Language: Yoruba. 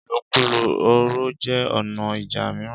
ìlòkulò ọ̀rọ̀ jẹ́ ọ̀nà ìjà mìíràn.